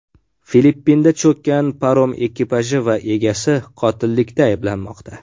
Filippinda cho‘kkan parom ekipaji va egasi qotillikda ayblanmoqda.